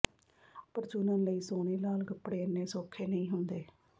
ਪਰ ਚੁਣਨ ਲਈ ਸੋਹਣੇ ਲਾਲ ਕਪੜੇ ਇੰਨੇ ਸੌਖੇ ਨਹੀਂ ਹੁੰਦੇ